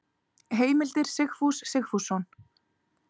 Heimildir Sigfús Sigfússon.